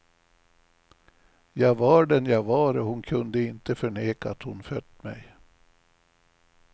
Jag var den jag var och hon kunde inte förneka att hon fött mig.